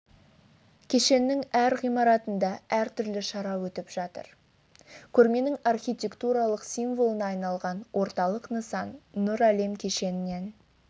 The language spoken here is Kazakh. кешенінің әр ғимаратында әртүрлі шара өтіп жатыр көрменің архитектуралық символына айналған орталық нысан нұр әлем кешенінен